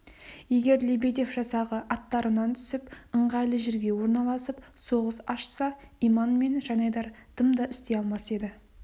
егер лебедев жасағы аттарынан түсіп ыңғайлы жерге орналасып соғыс ашса иман мен жанайдар дым да істей алмас еді